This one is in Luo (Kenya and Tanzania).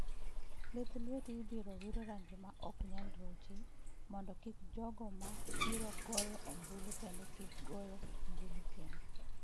Lith lweti ibiro wir rangi ma ok nyal ruchi mondo kik jogo ma biro goyo ombulu kendo kik goyo ombulu kendo.